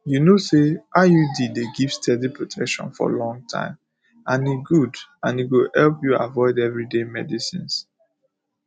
you know say iud dey give steady protection for long time and e go and e go help you avoid everyday medicines